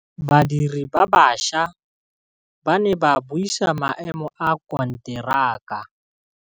Badiri ba baša ba ne ba buisa maêmô a konteraka.